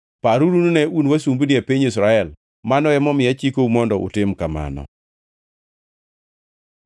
Paruru nine un wasumbini e piny Misri. Mano emomiyo achikou mondo utim kamano.